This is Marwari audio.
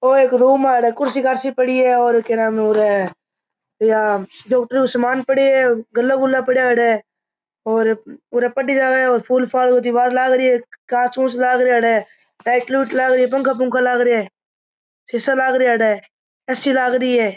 ओ एक रूम है अठे कुर्सी कारसी पड़ी है और के नाम रे इया डॉक्टर को सामान पड़यो है गल्ला गुला पड़या है अठे और पढ़ी जावे और फुल दिवार लागरी है घास फुस लाग रहिया अठे लाइट लूट लागरी पंखा पंखा लाग रिया सीसा लाग रहिया अठे ए_सी लागरी है।